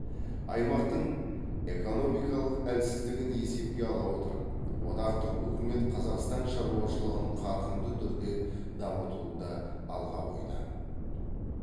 аймақтың экономикалық әлсіздігін есепке ала отырып одақтық үкімет қазақстан шаруашылығын қарқынды түрде дамытуды алға қойды